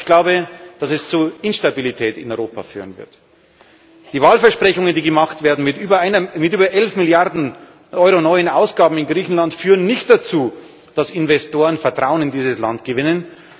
ich glaube, dass es zu Instabilität in Europa führen wird. Die Wahlversprechungen, die gemacht werden, mit über 11 Milliarden Euro neuen Ausgaben in Griechenland, führen nicht dazu, dass Investoren Vertrauen in dieses Land gewinnen.